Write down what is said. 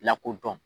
Lakodɔn